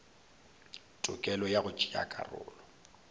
tokelo ya go tšea karolo